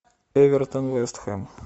эвертон вест хэм